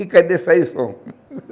E cadê sair o som?